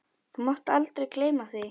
Þú mátt aldrei gleyma því.